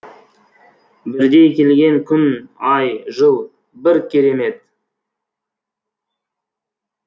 бірдей келген күн ай жыл бір керемет